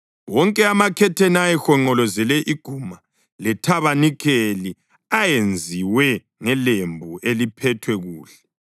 Wonke amakhetheni ayehonqolozele iguma lethabanikeli ayenziwe ngelembu eliphethwe kuhle.